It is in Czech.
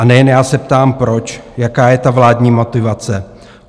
A nejen já se ptám proč, jaká je ta vládní motivace?